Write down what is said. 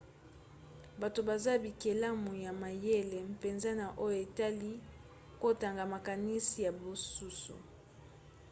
bato baza bikelamu ya mayele mpenza na oyo etali kotanga makanisi ya basusu